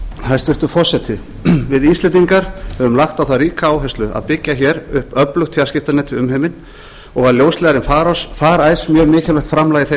hæstvirtur forseti við íslendingar höfum lagt á það ríka áherslu að byggja hér upp öflugt fjarskiptanet við umheiminn og var ljósleiðari farice mjög mikilvægt framlag í þeim